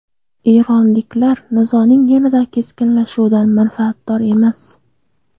Eronliklar nizoning yanada keskinlashuvidan manfaatdor emas.